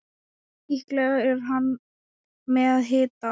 Líklega er hann með hita.